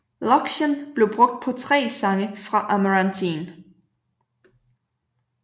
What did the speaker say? Loxian blev brugt på tre sange fra Amarantine